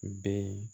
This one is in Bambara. Bɛn